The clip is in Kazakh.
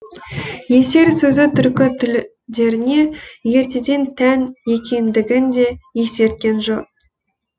есер сөзі түркі тілдеріне ертеден тән екендігін де есерткен жөн